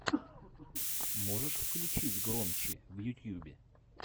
можешь включить громчи в ютьюбе